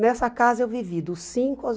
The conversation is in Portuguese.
Nessa casa eu vivi dos cinco aos